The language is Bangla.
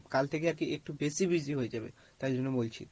কাল থেকে আর কি একটু বেশি busy হয়ে যাবো, তাই জন্য বলছি।